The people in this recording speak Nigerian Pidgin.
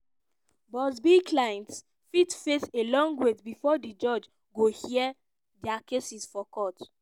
buzbee clients fit face a long wait bifor di judge go hear dia cases for court.